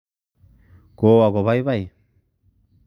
Kowo kobaibai